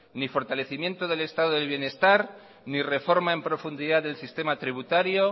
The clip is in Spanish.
ni fortalecimiento del estado del bienestar ni reforma en profundidad del sistema tributario